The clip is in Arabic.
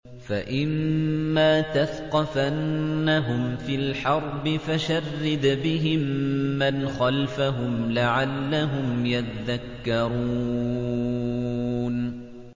فَإِمَّا تَثْقَفَنَّهُمْ فِي الْحَرْبِ فَشَرِّدْ بِهِم مَّنْ خَلْفَهُمْ لَعَلَّهُمْ يَذَّكَّرُونَ